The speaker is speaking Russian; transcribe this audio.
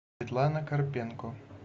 светлана карпенко